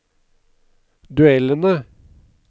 duellene